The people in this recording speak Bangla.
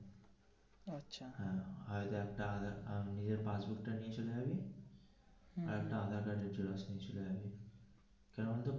আর একটা আধার ইয়ে passbook তা নিয়ে চলে যাবি আর একটা আধার কার্ড নিয়ে চলে আসবি চলে যাবি.